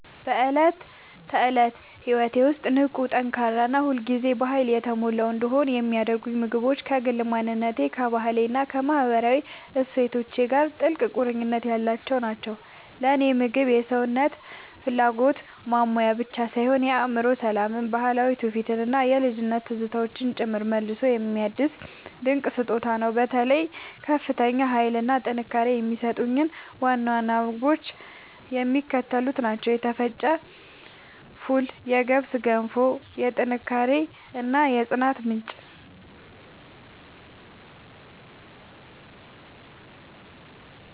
በዕለት ተዕለት ሕይወቴ ውስጥ ንቁ፣ ጠንካራ እና ሁል ጊዜ በኃይል የተሞላሁ እንድሆን የሚያደርጉኝ ምግቦች ከግል ማንነቴ፣ ከባህሌ እና ከማህበራዊ እሴቶቼ ጋር ጥልቅ ቁርኝት ያላቸው ናቸው። ለእኔ ምግብ የሰውነትን ፍላጎት ማሟያ ብቻ ሳይሆን የአእምሮ ሰላምን፣ ባህላዊ ትውፊትን እና የልጅነት ትዝታዎችን ጭምር መልሶ የሚያድስ ድንቅ ስጦታ ነው። በተለይ ከፍተኛ ኃይል እና ጥንካሬ የሚሰጡኝን ዋና ዋና ምግቦች የሚከተሉት ናቸው የተፈጨ ፉል የገብስ ገንፎ፦ የጥንካሬ እና የጽናት ምንጭ